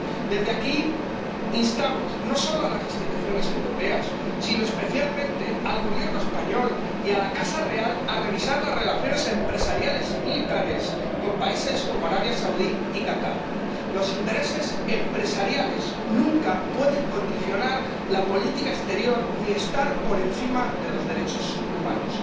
Desde aquí instamos no solo a las instituciones europeas, sino especialmente al Gobierno español y a la casa real a revisar las relaciones empresariales y militares con países como Arabia Saudí y Qatar. Los intereses empresariales nunca pueden condicionar la política exterior ni estar por encima de los derechos humanos.